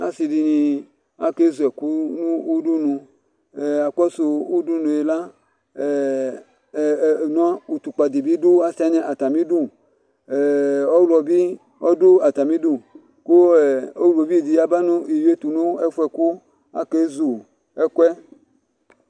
asi di ni ake zu ɛkò no udunu akɔsu udunu yɛ la ɛ nua utukpa di bi do asi wani atami du ɛ ɔwlɔ bi ɔdu atami du kò ɔwlɔ viu di bi ya ba n'iwi yɛ to n'ɛfu yɛ kò ake zu ɛkòɛ